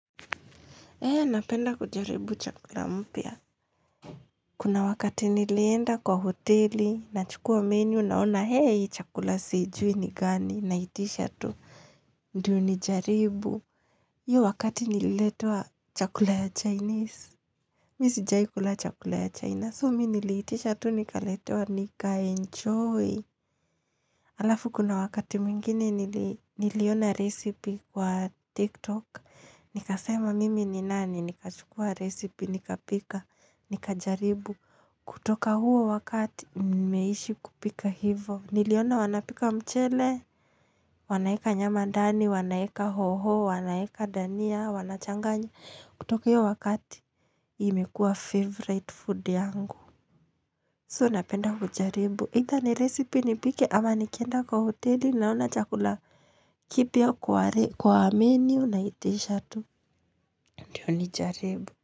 Eeh, napenda kujaribu chakula mpya. Kuna wakati nilienda kwa hoteli nachukua menu naona hei chakula sijui ni gani naitisha tu. Ndiyo nijaribu. Hiyo wakati nililetewa chakula ya Chinese. Mi sijawai kula chakula ya China. So mi niliitisha tu nikaletewa nikaenjoy. Alafu kuna wakati mwingine niliona recipe kwa TikTok. Nikasema mimi ni nani, nikachukua recipe nikapika. Nikajaribu, kutoka huo wakati nimeishi kupika hivyo niliona wanapika mchele. Wanaeka nyama ndani, wanaeka hoho, wanaeka dania, wanachanganya, kutoka hiyo wakati imekua favorite food yangu So napenda kujaribu either ni recipe nipike ama nikienda kwa hoteli naona chakula kipya kwa menu naitisha tu. Ndiyo nijaribu.